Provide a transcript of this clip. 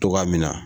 Togoya min na